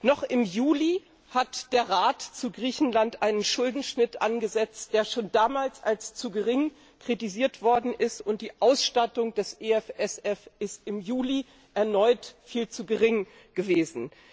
Noch im Juli hat der Rat zu Griechenland einen Schuldenschnitt angesetzt, der schon damals als zu gering kritisiert worden ist, und die Ausstattung des EFSF ist im Juli erneut viel zu gering gewesen.